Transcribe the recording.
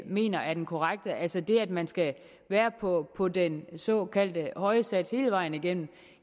mener er den korrekte altså det at man skal være på på den såkaldte høje sats hele vejen igennem